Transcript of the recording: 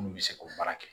N'u bɛ se k'o baara kɛ